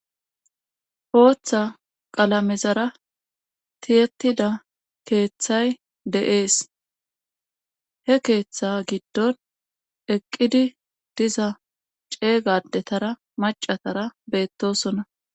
Booththa qalamezara tiyettida keeththay deees he keeththa giddon eqqidi diza ceeygadetara macatara beettosonna